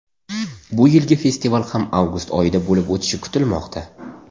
Bu yilgi festival ham avgust oyida bo‘lib o‘tishi kutilmoqda.